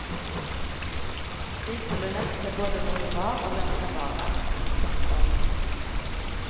Slik vil du lett se både hvor det var og hvem som var der. punktum